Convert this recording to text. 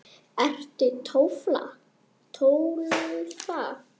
Ertu Tólfa?